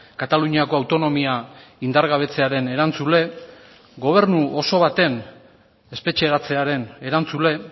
kataluniako autonomia indargabetzearen erantzule gobernu oso baten espetxeratzearen erantzule